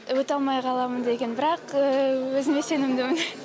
өте алмай қаламын деген бірақ өзіме сенімдімін